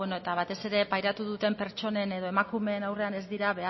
beno eta batez ere pairatu duten pertsonen edo emakumeen aurrean ez dira